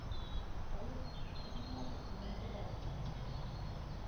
салют чем платят у занзибарцев